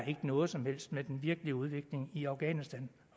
noget som helst med den virkelige udvikling i afghanistan